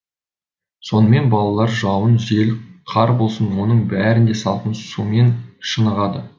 сонымен балалар жауын жел қар болсын оның бәрінде салқын сумен шынығады